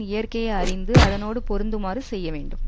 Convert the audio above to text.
இயற்கையை அறிந்து அதனோடு பொருந்துமாறு செய்யவேண்டும்